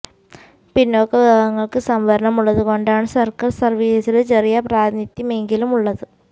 പിന്നോക്ക വിഭാഗങ്ങള്ക്ക് സംവരണം ഉള്ളതുകൊണ്ടാണ് സര്ക്കാര് സര്വ്വീസില് ചെറിയ പ്രാതിനിത്യമെങ്കിലും ഉള്ളത്